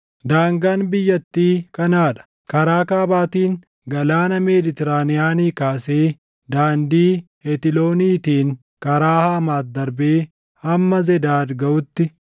“Daangaan biyyattii kanaa dha: “Karaa kaabaatiin Galaana Meeditiraaniyaanii kaasee daandii Hetilooniitiin karaa Haamaat darbee hamma Zedaadi gaʼutti,